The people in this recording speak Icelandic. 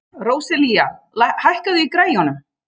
Róselía, hækkaðu í græjunum.